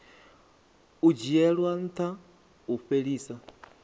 u dzhiela ntha u fhelisa